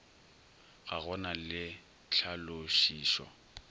ga go na le tlhalošišo